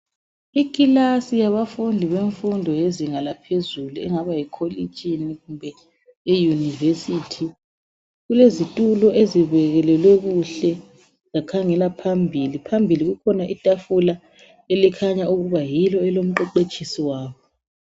Ikilasi yemfundo yezinga eliphezulu engaba yikolitshini kumbe e university. Kulezitulo ezibekelelwe kuhle zakhangela phambili. Phambili kukhona itafula elikhanya ukuba yilo elomqeqetshisi wabo.